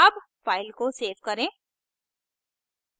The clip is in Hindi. अब file को सेव करें